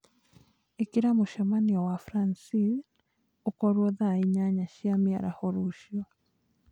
ĩkira mũcemanio na Francine iwe thaa inyanya cia mĩaraho rũciũ